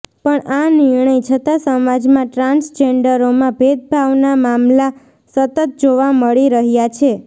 પણ આ નિર્ણય છતાં સમાજમાં ટ્રાન્સજેન્ડરોમાં ભેદભાવના મામલા સતત જોવા મળી રહ્યા છે